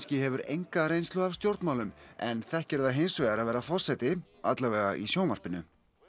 hefur enga reynslu af stjórnmálum en þekkir það hins vegar að vera forseti í sjónvarpinu